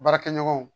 Baarakɛɲɔgɔnw